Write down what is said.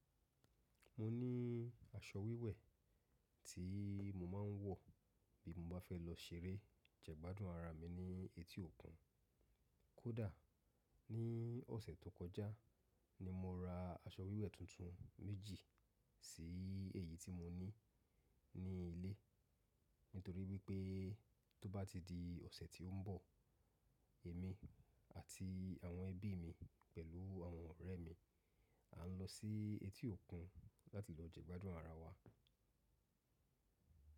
Mọ ní aṣọ wíwẹ̀ tí mo máa ń wọ̀ bí mo bá fẹ́ lọ ṣeré jẹ́ gbádùn ara mi ní etí òkun. Kódà ní ọ̀sẹ̀ tó kọjá ni mọ ra aṣọ wíwẹ̀ tuntun méjì sí èyí tí mo ní ní ilé nítorí wípé tó bá ti di ọ̀sẹ̀ tí ń bọ̀, èmi àti àwọn ẹbí mi pẹ̀lú àwọn ọ̀rẹ́ mi a lọ sí etí òkun láti lọ jẹ́gbádùn ara wa.